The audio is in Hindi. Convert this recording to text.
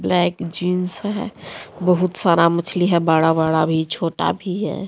यह एक जींस है बहुत सारा मछली है बड़ा बड़ा भी छोटा भी है।